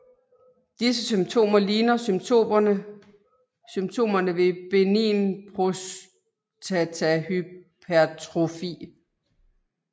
Disse symptomer ligner symptomerne ved benign prostatahypertrofi